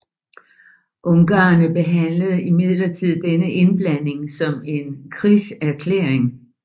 Ungarerne behandlede imidlertid denne indblanding som en krigserklæring